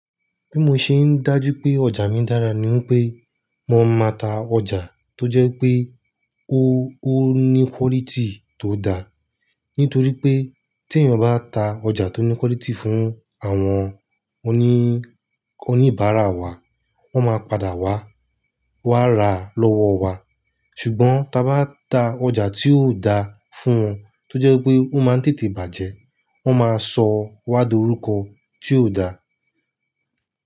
Bí mo ṣe ń dájú pé ọjà mi dára ni wípé mo máa ń ta ọjà tó jẹ́ pé ó ó ní quality tó da. Nítorí pé tí èèyàn bá ta ọjà tó ní quality fún àwọn oní oní ìbàrá wa, wọ́n máa padà wá, wá ra lọ́wọ́ wa. Ṣùgbọ́n ta bá ta ọjà tí ò da fún wọn tó jẹ́ pé ó máa ń tètè bàjẹ́, wọ́n máa sọ wá dúrókọ tí ò da.